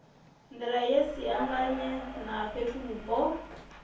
nḓila ye siangane na fhethuvhupo